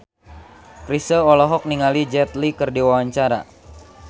Chrisye olohok ningali Jet Li keur diwawancara